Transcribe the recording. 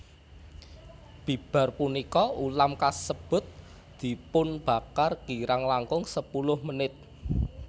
Bibar punika ulam kasebut dipunbakar kirang langkung sepuluh menit